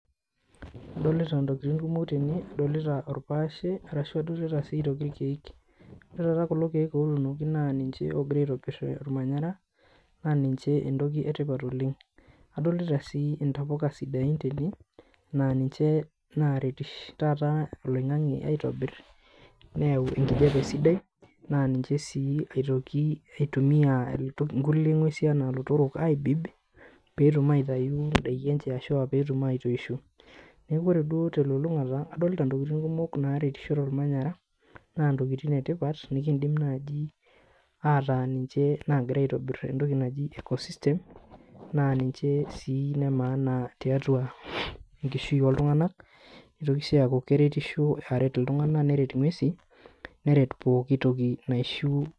Adolita intokiting kumok tene adolita orpaashe arashu adolita sii aitoki irkeek ore taata kulo keek otunoki naa ninche ogira aitoirr ormanyara naa ninche entoki etipat oleng adolita sii intapuka sidain tene naa ninche naretish taata oloing'ang'e aitobirr neyau enkijape sidai naa ninche sii aitoki eitumia inkulie ng'uesi anaa ilotorok aibib peetum aitai indaiki enche ashua peetum aitoisho neku ore duo telulung'ata adolta intokiting kumok naretisho tormanyara naa intokiting etipata nikindim naaji ataa ninche nagira aitobirr entoki naji ecosystem naa ninche sii ine maana tiatua enkishui oltung'anak nitoki sii aaku keretisho aret iltung'ana neret ing'uesi neret pooki toki naishu.